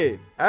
Əli!